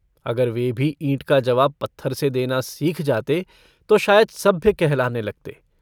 अगर वे भी ईट का जवाब पत्थर से देना सीख जाते तो शायद सभ्य कहलाने लगते।